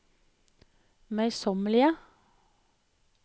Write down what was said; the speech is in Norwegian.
møysommelige